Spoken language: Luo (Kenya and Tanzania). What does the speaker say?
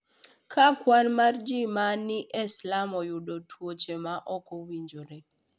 Ka kwan mar ji ma ni e slum oyudo tuoche ma ok owinjore